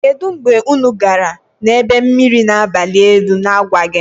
Kedu mgbe unu gara na ebe mmiri na abalị elu na-agwaghị m?